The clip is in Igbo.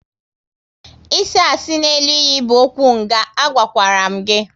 Isi asị n'elu iyi bụ okwu nga, a gwakwara m gị!